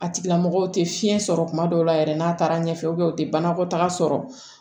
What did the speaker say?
A tigilamɔgɔw tɛ fiɲɛ sɔrɔ tuma dɔw la yɛrɛ n'a taara ɲɛfɛ u tɛ banakɔtaga sɔrɔ